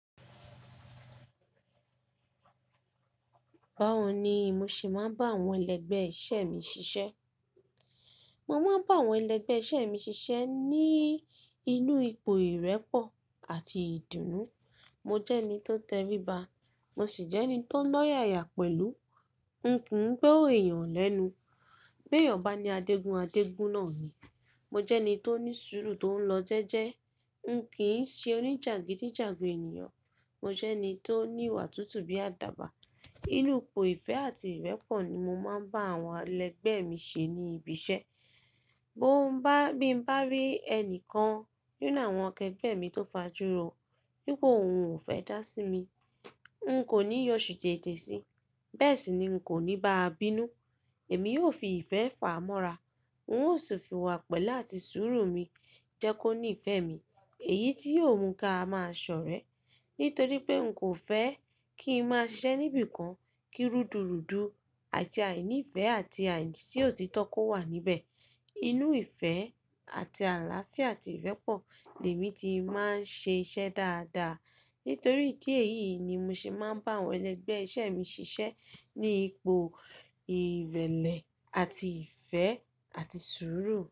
Báwo ni mo ṣe máa ń bá àwọn ẹlẹgbẹ́ iṣẹ́ mi ṣiṣẹ́. Mo máa ń bá àwọn ẹlẹgbẹ́ iṣẹ́ mi ṣiṣẹ́ ní inú ipò ìrẹ́pọ̀ àti ìdùnnú. Mo jẹ́ ẹni tó tẹríba, mo sì jẹ́ ẹni tó lọ́yàyà pẹ̀lú. N kò ń gbo eyàn lẹ́nu. Bi éyàn bá ni adégun, adégun náà ni. Mo jẹ́ ẹni tó ní sùúrù tó ń lọ jẹ́ẹ́jẹ́. N kì í ṣe oníjàgídíjàgan ènìyàn. Mo jẹ́ ẹni tó ní ìwà tútù bí àdàbà. Inú ipò ìfẹ́ àti ìrẹ́pọ̀ ni mo máa ń bá àwọn ẹlẹgbẹ́ mi ṣe ní ibi iṣẹ́. Bí n mo bá rí ẹnìkan nínú àwọn akẹgbẹ́ mi tó fajuro, wípé òun ò fẹ́ dá sí mi, n kò ní yọ̀ṣù etè síi, bẹ́ẹ̀ sì ni n kò ní báa bínú. Èmi yóò fi ìfẹ́ fà á mọ́ra. N ó sì fi iwà pẹ́le áti súúrù mi jẹ́ kó ní ìfẹ́ mi. Èyí tí yóò mú ká máa sọ̀rẹ́. Nítorí pé n kò fẹ́ kí n máa ṣiṣẹ́ níbi kan kí rúdùrùdu àti àì nífẹ́ àti àì sí òtítọ́ kó wà níbẹ̀. Inú ìfẹ́ àti àlàáfíà àti ìrẹ́pọ̀ lèmi ti máa ń ṣe iṣẹ́ dáadáa. Nítorí idi èyí ni mo ṣe máa ń bá àwọn ẹlẹgbẹ́ iṣẹ́ mi ṣiṣẹ́ ní ipò ìrẹ̀lẹ̀ àti ìfẹ́ àti sùúrù.